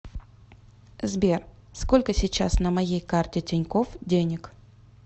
сбер сколько сейчас на моей карте тинькофф денег